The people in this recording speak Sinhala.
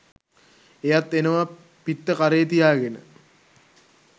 එයත් එනවා පිත්ත කරේ තියාගෙන